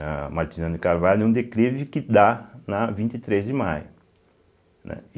A Martina de Carvalho é um declive que dá na vinte e três de maio, né.